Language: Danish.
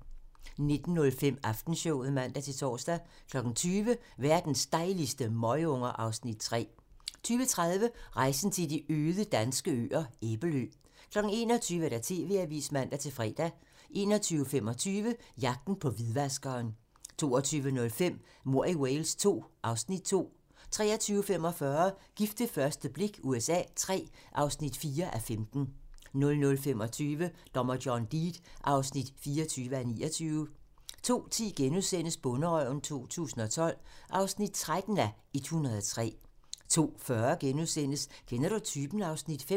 19:05: Aftenshowet (man-tor) 20:00: Verdens dejligste møgunger (Afs. 3) 20:30: Rejsen til de øde danske øer - Æbelø 21:00: TV-avisen (man-fre) 21:25: Jagten på hvidvaskeren 22:05: Mord i Wales II (Afs. 2) 23:45: Gift ved første blik USA III (4:15) 00:25: Dommer John Deed (24:29) 02:10: Bonderøven 2012 (13:103)* 02:40: Kender du typen? (Afs. 5)*